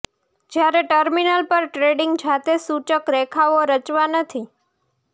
જ્યારે ટર્મિનલ પર ટ્રેડિંગ જાતે સૂચક રેખાઓ રચવા નથી